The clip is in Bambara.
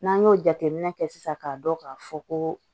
N'an y'o jateminɛ kɛ sisan k'a dɔn k'a fɔ ko